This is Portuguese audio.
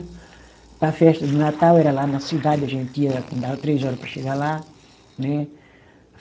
Para a festa de Natal era lá na cidade, a gente ia, andava três horas para chegar lá, né?